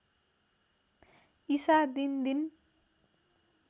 ईसा दिनदिन